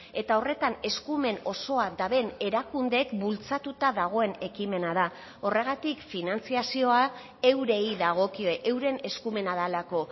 eta horretan eskumen osoa duten erakundeek bultzatuta dagoen ekimena da horregatik finantzazioa eurei dagokie euren eskumena delako